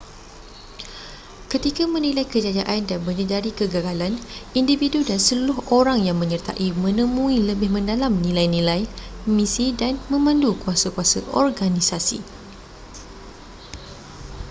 ketika menilai kejayaan dan menyedari kegagalan individu dan seluruh orang yang menyertai menemui lebih mendalam nilai-nilai misi dan memandu kuasa-kuasa organisasi